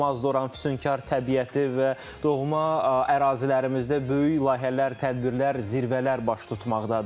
Oranın füsunkar təbiəti və doğma ərazilərimizdə böyük layihələr, tədbirlər, zirvələr baş tutmaqdadır.